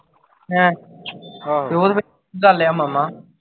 ਹੈ ਤੇ ਉਹ ਫਿਰ ਗੱਲ ਆ ਮਾਮਾ